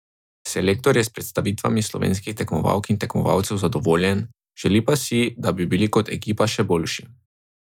Selektor je s predstavami slovenskih tekmovalk in tekmovalcev zadovoljen, želi pa si, da bi bili kot ekipa še boljši.